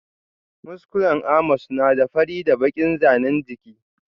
Muskulen Amos na da fari da bakin zanin jiki.